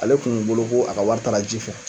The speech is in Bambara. Ale kun bolo, a ka wari taara ji fɛ